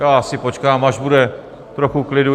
Já si počkám, až bude trochu klidu.